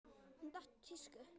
Hún datt úr tísku.